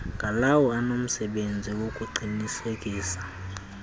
ngalawo anomsebenzi wokuqinisekisa